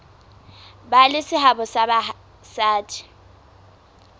ba le seabo ha basadi